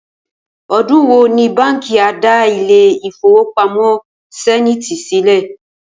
O̩dún wo ni báǹkì a dá ilé ìfowópamó̩ Sé̩níìtì sílè̩?